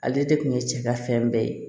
Ale de kun ye cɛ ka fɛn bɛɛ ye